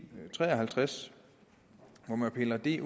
tre og halvtreds hvor man piller det